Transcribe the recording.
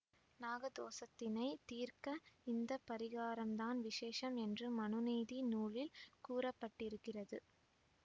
நாக தோசத்தினை தீர்க்க இந்த பரிகாரம்தான் விஷேசம் என்று மனுநீதி நூலில் கூற பட்டிருக்கிறது